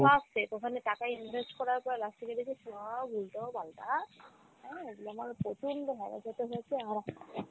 সব fake ওখানে টাকা invest করার পর last এ গিয়ে দেখি সব উল্টো পাল্টা হ্যাঁ আমার প্রচন্ড harass হতে হয়েছে আর